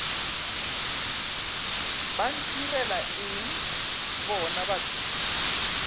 ba ntirela eng bona batho